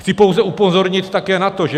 Chci pouze upozornit také na to, že